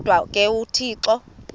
kodwa ke uthixo